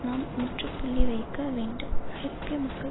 நாம் முற்றுப்புள்ளி வைக்க வேண்டும் ஐரோப்பிய மக்கள்